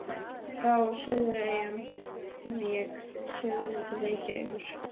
Frá Suðureyjum vék sögunni til Reykjavíkur.